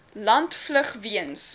land vlug weens